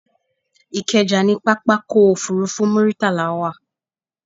Ìkẹjà ni pápákọ̀ òfurufú Muritala wà